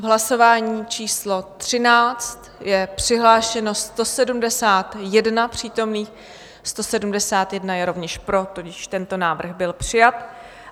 V hlasování číslo 13 je přihlášeno 171 přítomných, 171 je rovněž pro, tudíž tento návrh byl přijat.